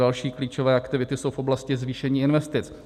Další klíčové aktivity jsou v oblasti zvýšení investic.